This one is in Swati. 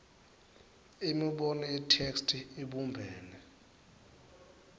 imibono yetheksthi ibumbene